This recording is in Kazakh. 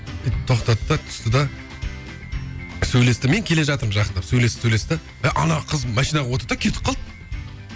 тоқтады да түсті де сөйлесті мен келе жатырмын жақындап сөйлесті сөйлесті де ана қыз машинаға отырды да кетіп қалды